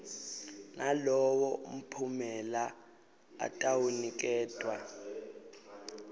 nalowo mphumela atawuniketwa